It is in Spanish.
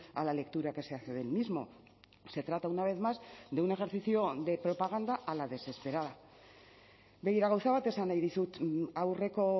a la lectura que se hace del mismo se trata una vez más de un ejercicio de propaganda a la desesperada begira gauza bat esan nahi dizut aurreko